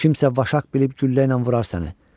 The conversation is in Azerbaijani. Kimsə vaşaq bilib güllə ilə vurar sənə.